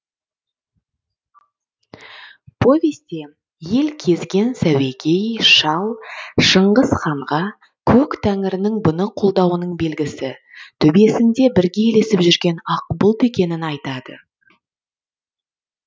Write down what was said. повесте ел кезген сәуегей шал шыңғыс ханға көк тәңірінің бұны қолдауының белгісі төбесінде бірге ілесіп жүретін ақ бұлт екенін айтады